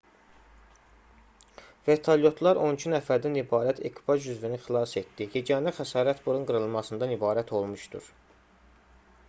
vertolyotlar on iki nəfərdən ibarət ekipaj üzvünü xilas etdi yeganə xəsarət burun qırılmasından ibarət olmuşdur